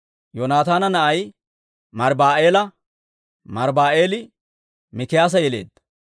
Yoonataana na'ay Mariiba'aala; Mariiba'aali Mikiyaasa yeleedda.